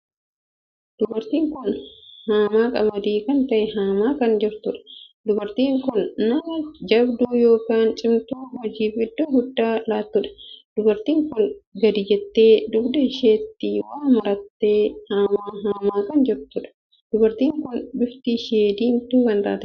Dubartiin kun haamaa qamadii kan ta`e haamaa kan jirtuudha. dubartiin kun nama jabduu ykn cimtuu hojiif iddoo guddaa lattuudha. dubartii kun gadi jette dugda isheetti waa maratee hamaa haamaa kan jiranidha. dubartiin kun bifti ishee diimtuu kan taateedha.